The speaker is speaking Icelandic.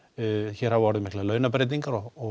hér hafa orðið miklar launabreytingar og